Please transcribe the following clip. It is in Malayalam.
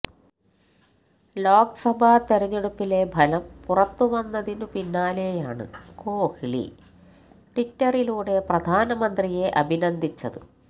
ലോക്സഭ തെരഞ്ഞെടുപ്പിലെ ഫലം പുറത്തുവന്നതിനു പിന്നാലെയാണ് കോഹ്ലി ട്വിറ്ററിലൂടെ പ്രധാന മന്ത്രിയെ അഭിനന്ദിച്ചത്